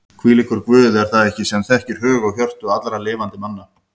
Hvílíkur Guð er það ekki sem þekkir hug og hjörtu allra lifandi manna?